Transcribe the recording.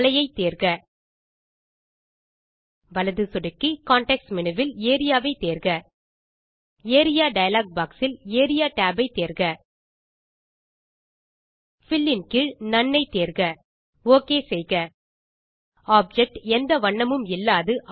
மலை யை தேர்க வலது சொடுக்கி கான்டெக்ஸ்ட் மேனு வில் ஏரியா ஐ தேர்க ஏரியா டயலாக் பாக்ஸ் இல் ஏரியா tab ஐ தேர்க பில் இன் கீழ் நோன் ஐ தேர்க ஓகே செய்க ஆப்ஜெக்ட் எந்த வண்ணமும் இல்லாது